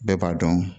Bɛɛ b'a dɔn